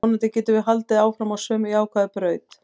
Vonandi getum við haldið áfram á sömu jákvæðu braut.